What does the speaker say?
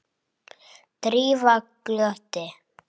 Drífa glotti.